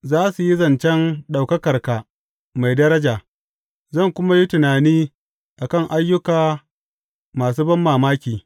Za su yi zancen ɗaukakarka mai daraja, zan kuma yi tunani a kan ayyukanka masu banmamaki.